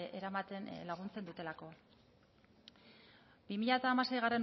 eramaten laguntzen dutelako bi mila hamaseigarrena